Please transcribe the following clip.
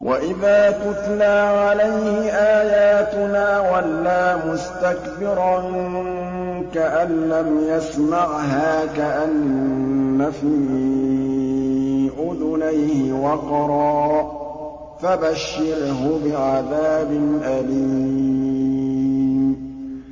وَإِذَا تُتْلَىٰ عَلَيْهِ آيَاتُنَا وَلَّىٰ مُسْتَكْبِرًا كَأَن لَّمْ يَسْمَعْهَا كَأَنَّ فِي أُذُنَيْهِ وَقْرًا ۖ فَبَشِّرْهُ بِعَذَابٍ أَلِيمٍ